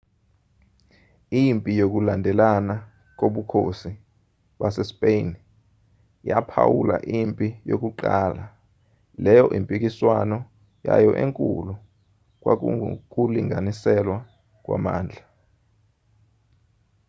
impi yokulandelana kobukhosi basespeyini yaphawula impi yokuqala leyo impikiswano yayo enkulu kwakungukulinganiselwa kwamandla